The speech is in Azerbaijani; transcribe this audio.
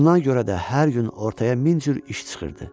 Buna görə də hər gün ortaya min cür iş çıxırdı.